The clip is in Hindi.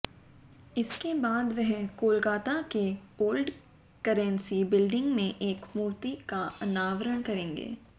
इसके बाद वह कोलकाता के ओल्ड करेंसी बिल्डिंग में एक मूर्ति का अनावरण करेंगे